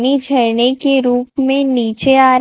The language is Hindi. नी झरने के रूप में नीचे आ--